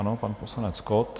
Ano, pan poslanec Kott.